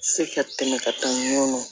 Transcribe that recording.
Se ka tɛmɛ ka taa nɔnɔ